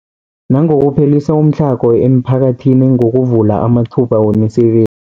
Nangokuphelisa umtlhago emiphakathini ngokuvula amathuba wemisebe